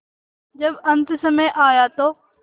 जब अन्तसमय आया तो